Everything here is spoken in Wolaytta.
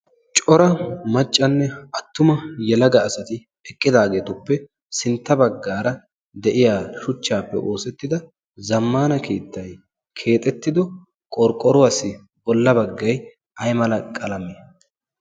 cora maccanne attuma yalaga asati eqqidaageetuppe sintta baggaara de7iya shuchchaappe oosettida zammana keettai keexettido qorqqoruwaassi bolla baggai ai mala qalame?